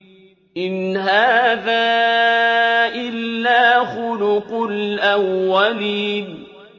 إِنْ هَٰذَا إِلَّا خُلُقُ الْأَوَّلِينَ